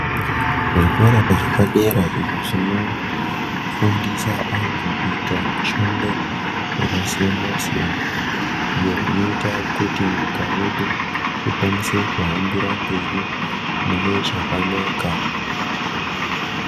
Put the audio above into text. Zvikora zvepadera izvo zvinofundisa antu kuita mishando yakasiyana siyana iyo inoita kuti nyika yedu ikwanise kuhambira mberi mune chakanaka.